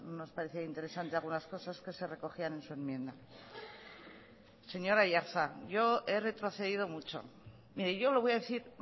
nos ha parecido interesante algunas cosas que se recogían en su enmienda señor aiartza yo he retrocedido mucho mire yo le voy a decir